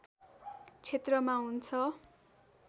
क्षेत्रमा हुन्छ